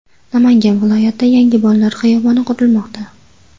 Namangan viloyatida yangi bolalar xiyoboni qurilmoqda.